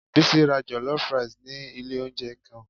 Bisi ra jollof rice ni ilé oúnjẹ ken.